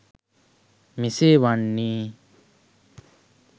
මෙසේ වන්නේ